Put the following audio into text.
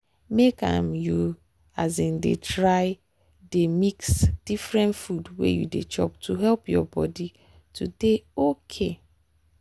make um you um dey um mix different food when you dey chop to help your body. to dey okay